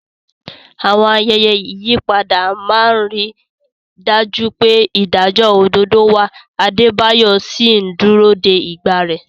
Àwọn ayẹyẹ ìyípadà máa ń rí i dájú pé ìdájọ́ òdodo wà, Adebayo sì ń dúró de ìgbà rẹ̀.